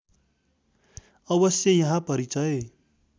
अवश्य यहाँ परिचय